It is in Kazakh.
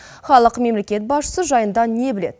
халық мемлекет басшысы жайында не біледі